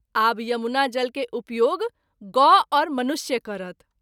आब यमुना जल के उपयोग गौ आओर मनुष्य क’रत।